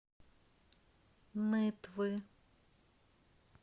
нытвы